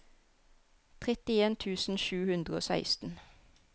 trettien tusen sju hundre og seksten